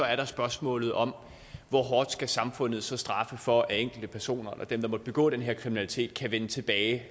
er der spørgsmålet om hvor hårdt samfundet så skal straffe for at enkeltpersoner dem der måtte have begået den her kriminalitet kan vende tilbage